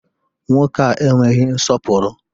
Nwoke a enweghị nsọpụrụ!